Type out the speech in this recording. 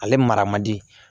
Ale mara man di